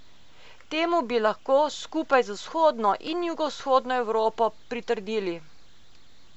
Temu bi lahko, skupaj z vzhodno in jugovzhodno Evropo, pritrdili.